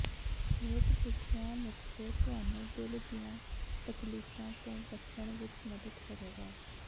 ਹੇਠ ਲਿਖੀਆਂ ਨੁਕਤੇ ਤੁਹਾਨੂੰ ਦਿਲ ਦੀਆਂ ਤਕਲੀਫ਼ਾਂ ਤੋਂ ਬਚਣ ਵਿੱਚ ਮਦਦ ਕਰੇਗਾ